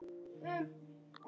Við munum öll sakna hans.